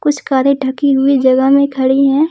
कुछ कारें ढकी हुई जगह में खड़ी है।